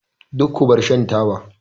Duk ku bar shan taba!